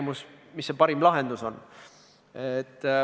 Nüüd, sa ütlesid, et detsembrikuine hääletus oli tõsine samm või signaal jne.